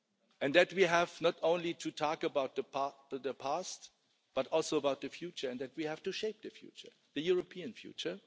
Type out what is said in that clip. and that we have not only to talk about the past but also about the future and that we have to shape the future, the European future.